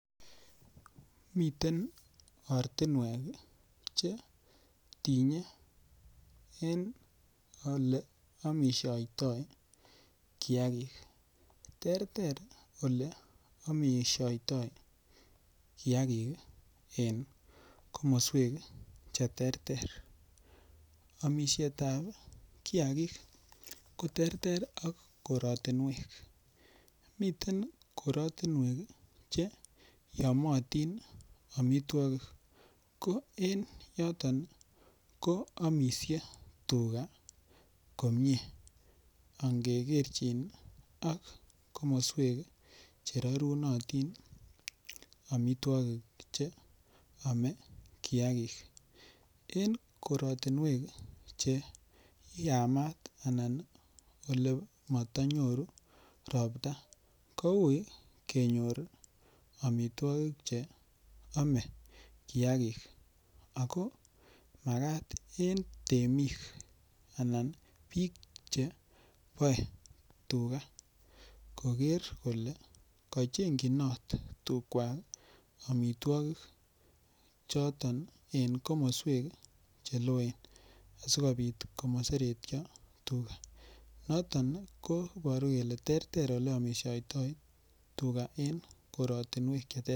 Miten ortinwek che tinye eng' ole omishoitoi kiyakik terter ole omishoitoi kiyakik en komoswek cheterter omishetab kiyakik koterter ak koratinwek miten korotwek che yomiyotin omitwokik ko en yoton ko omishen tuga komyee angegerchin ak komoswek cherorunotin omitwokik cheome kiyakik eng' korotinwek cheyamat anan ole matanyoru ropta koui kenyor omitwokik cheome kiyakik ako makat en temik anan biik cheboee tuga koker kole kacheng'chinot tugwak omitwokik choton en komoswek cheloen asikobit komaseretyon tuga noton koboru kole terter ole omishoitoi tuga eng' korotinwek cheterter